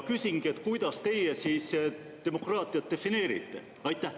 Küsingi: kuidas teie demokraatiat defineerite?